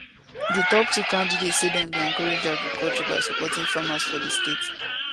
di top two candidates say dem go encourage agriculture by supporting farmers for di state